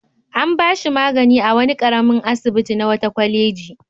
An ba shi magani a wani ƙaramin asibiti na wata kwaleji.